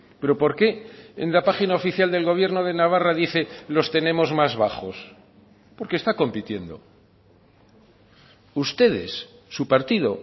pero por qué en la página oficial del gobierno de navarra dice los tenemos más bajos porque está compitiendo ustedes su partido